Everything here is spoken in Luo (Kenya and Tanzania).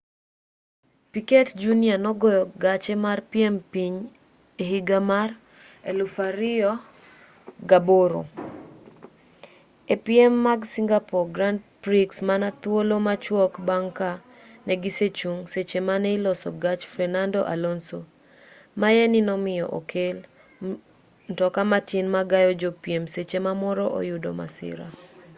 piquet jr nogoyo gache mar piem piny e higa mar 2008 e piem mag singapore grand prix mana thuolo machwok bang' ka negisechung' seche mane iloso gach fernando alonso maye ni nomiyo okel mtoka matin ma gayo jopiem seche ma moro oyudo masira